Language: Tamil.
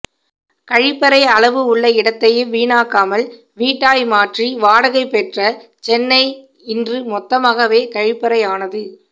கழிப்பறை அளவு உள்ள இடத்தையும் வீணாக்காமல் வீட்டாய் மாற்றி வாடகை பெற்ற சென்னை இன்று மொத்தமாகவே கழிப்பறை ஆனது